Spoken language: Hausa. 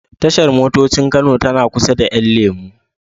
Tashar motocin Kano tana kusa da 'yan lemo.